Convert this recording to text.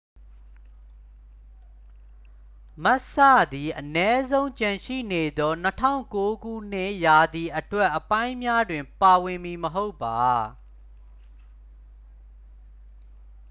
မက်စ်စ သည် အနည်းဆုံး ကျန်ရှိနေသော 2009 ရာသီအတွက်အပိုင်းများတွင် ပါဝင်မည်မဟုတ်ပါ